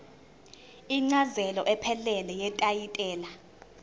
incazelo ephelele yetayitela